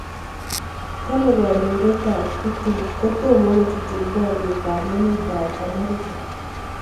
Kale kandoindet Putin tomo kojutjin boriet ab emet ab America.